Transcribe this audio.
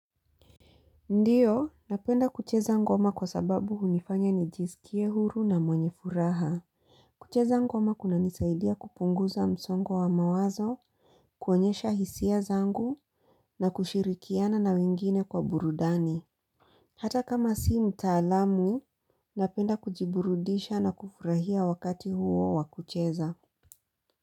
Ndiyo, napenda kucheza ngoma kwa sababu hunifanya nijisikie huru na mwenye furaha. Kucheza ngoma kunanisaidia kupunguza msongo wa mawazo, kuonyesha hisia zangu na kushirikiana na wengine kwa burudani. Hata kama si mtaalamu, napenda kujiburudisha na kufurahia wakati huo wa kucheza.